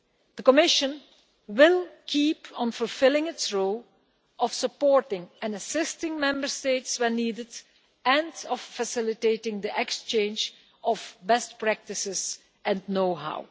The Commission will keep on fulfilling its role of supporting and assisting Member States where needed and of facilitating the exchange of best practices and know how.